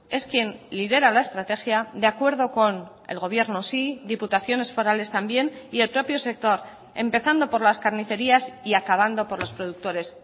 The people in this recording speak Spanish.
es quién lidera la estrategia de acuerdo con el gobierno sí diputaciones forales también y el propio sector empezando por las carnicerías y acabando por los productores